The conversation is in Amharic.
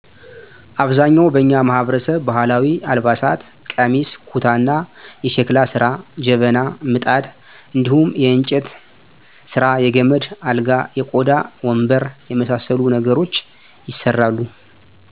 አብዛኛውን በኛ ማህበረሰብ ባህላዊ አልባሳት ቀሚስ፣ ኩታ እና የሽክላ ስራ ጀበና፣ ምጣድ እንድሁም የእንጨት ስራየ ገመድ አልጋ፣ የቆዳ ወንበር የመሳሰሉ ነገሮች ይሠራል።